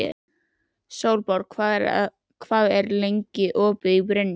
Sólborg, hvað er lengi opið í Brynju?